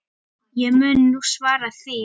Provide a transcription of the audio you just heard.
Ég mun nú svara því.